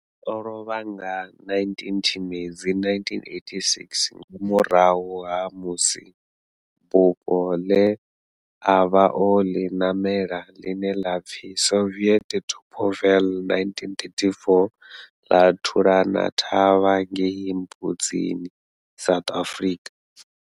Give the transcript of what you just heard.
O lovha nga 19 Tshimedzi 1986 nga murahu ha musi bufho le a vha o li namela, line la pfi Soviet Tupolev 1934 la thulana thavha ngei Mbudzini, South Africa.